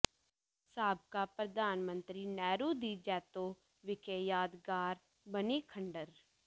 ਸਾਬਕਾ ਪ੍ਰਧਾਨ ਮੰਤਰੀ ਨਹਿਰੂ ਦੀ ਜੈਤੋ ਵਿਖੇ ਯਾਦਗਾਰ ਬਣੀ ਖੰਡਰ